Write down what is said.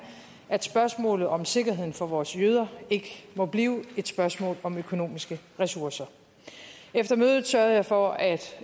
at spørgsmålet om sikkerheden for vores jøder ikke må blive et spørgsmål om økonomiske ressourcer efter mødet sørgede jeg for at